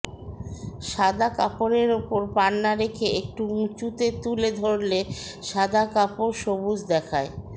সাদা কাপড়ের ওপর পান্না রেখে একটু উঁচুতে তুলে ধরলে সাদা কাপড় সবুজ দেখায়